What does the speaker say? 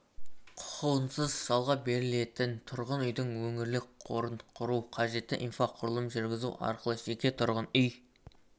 құқығынсыз жалға берілетін тұрғын үйдің өңірлік қорын құру қажетті инфрақұрылым жүргізу арқылы жеке тұрғын үй